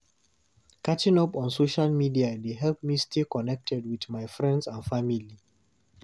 Catching up on social media dey help me stay connected with my friends and family.